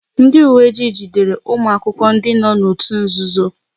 Ndị uwe ojii jidere ụmụ akwụkwọ ndị nọ n'òtù nzuzo